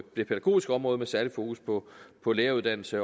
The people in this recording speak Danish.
det pædagogiske område med særlig fokus på på læreruddannelse